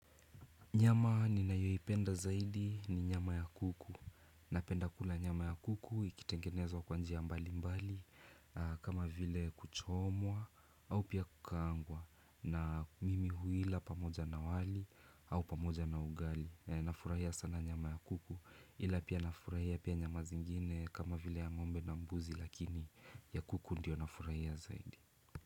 Nyama ninayoipenda zaidi ni nyama ya kuku. Napenda kula nyama ya kuku ikitengenezwa kwa njia ya mbali mbali kama vile kuchomwa au pia kukaangwa na mimi huila pamoja na wali au pamoja na ugali. Nafurahia sana nyama ya kuku ila pia na furahia pia nyama zingine kama vile ya ngombe na mbuzi lakini ya kuku ndio nafurahia zaidi.